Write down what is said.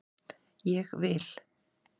Ég vil